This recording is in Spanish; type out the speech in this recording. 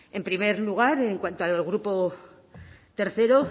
en primer lugar en cuanto al grupo tercero